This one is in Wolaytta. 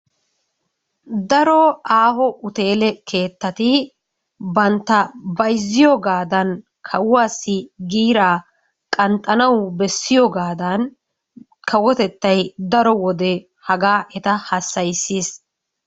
Daro aaho uteele keettati bantta bayzziyogaadan kawuwassi giiraa qanxxanawu bessiyogaadan kawotettay daro wode hagaa eta hassayissiis.